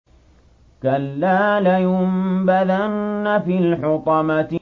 كَلَّا ۖ لَيُنبَذَنَّ فِي الْحُطَمَةِ